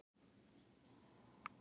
Missti allt sitt í stórbruna